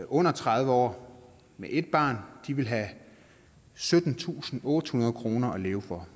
under tredive år med ét barn vil have syttentusinde og ottehundrede kroner at leve for